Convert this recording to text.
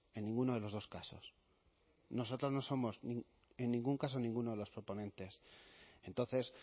en ninguno de los dos casos nosotros no somos en ningún caso ninguno de los proponentes entonces